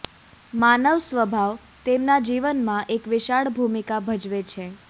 માનવ સ્વભાવ તેમના જીવન માં એક વિશાળ ભૂમિકા ભજવે છે